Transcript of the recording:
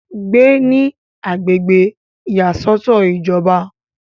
gbé ní agbègbè ìyàsọ́tọ̀ ìjọba